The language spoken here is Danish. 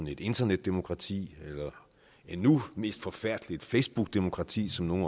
et internetdemokrati eller endnu mere forfærdeligt et facebookdemokrati som nogle